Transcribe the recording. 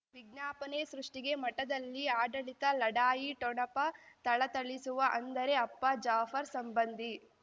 ವಿಜ್ಞಾಪನೆ ಸೃಷ್ಟಿಗೆ ಮಠದಲ್ಲಿ ಆಡಳಿತ ಲಢಾಯಿ ಠೊಣಪ ಥಳಥಳಿಸುವ ಅಂದರೆ ಅಪ್ಪ ಜಾಫರ್ ಸಂಬಂಧಿ